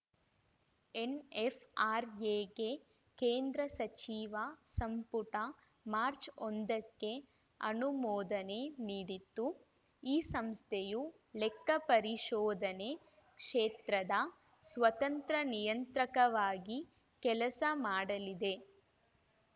ಎನ್‌ಎಫ್‌ಆರ್‌ಎಗೆ ಕೇಂದ್ರ ಸಚಿವ ಸಂಪುಟ ಮಾರ್ಚ್ ಒಂದಕ್ಕೆ ಅನುಮೋದನೆ ನೀಡಿತ್ತು ಈ ಸಂಸ್ಥೆಯು ಲೆಕ್ಕ ಪರಿಶೋಧನೆ ಕ್ಷೇತ್ರದ ಸ್ವತಂತ್ರ ನಿಯಂತ್ರಕವಾಗಿ ಕೆಲಸ ಮಾಡಲಿದೆ